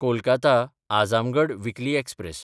कोलकाता–अझामगड weekly express